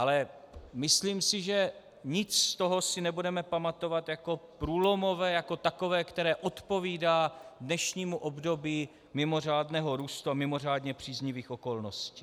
Ale myslím si, že nic z toho si nebudeme pamatovat jako průlomové, jako takové, které odpovídá dnešnímu období mimořádného růstu a mimořádně příznivých okolností.